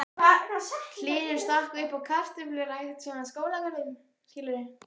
Hlynur stakk uppá kartöflurækt, svona Skólagörðum.